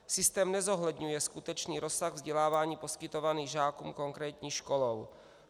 Systém nezohledňuje skutečný rozsah vzdělávání poskytovaného žákům konkrétní školou.